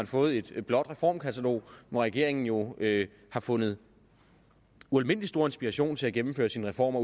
fået et blåt reformkatalog hvor regeringen jo har fundet ualmindelig stor inspiration til at gennemføre sine reformer